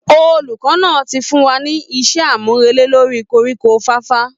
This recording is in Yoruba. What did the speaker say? Olùkọ́ náà ti fún wa ní iṣẹ́ àmúrelé lórí koríko fàfà